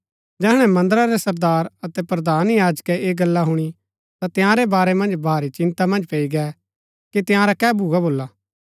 जैहणै मन्दरा रै सरदार अतै प्रधान याजकै ऐह गल्ला हुणी ता तंयारै बारै मन्ज भारी चिन्ता मन्ज पैई गै कि तंयारा कै भूआ भोला